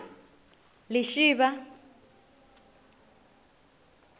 lishivha